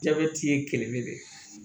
Jabɛti ye kelen de ye